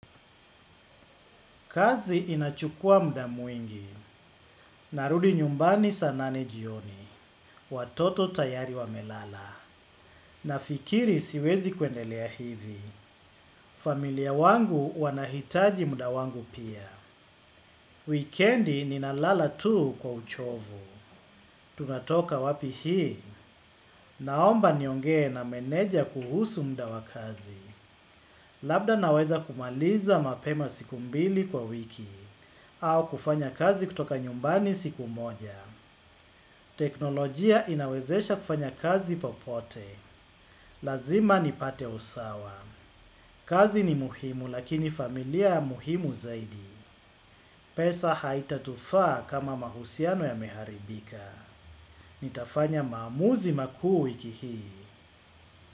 Kazi inachukua muda mwingi, narudi nyumbani saa nane jioni, watoto tayari wamelala, nafikiri siwezi kuendelea hivi, familia yangu inahitaji muda wangu pia. Wikendi ninalala tu kwa uchovu, tunatoka wapi hii, naomba niongee na meneja kuhusu muda wa kazi, labda naweza kumaliza mapema siku mbili kwa wiki, au kufanya kazi kutoka nyumbani siku moja. Teknolojia inawezesha kufanya kazi popote. Lazima nipate usawa. Kazi ni muhimu lakini familia muhimu zaidi. Pesa haitatufaa kama mahusiano yameharibika. Nitafanya maamuzi makuu wiki hii.